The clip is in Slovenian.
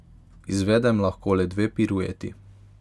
Izvedem lahko le dve pirueti.